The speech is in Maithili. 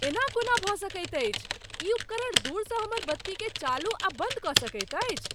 एना कोना भऽ सकैत अछि! ई उपकरण दूरसँ हमर बत्तीकेँ चालू आ बन्द कऽ सकैत अछि?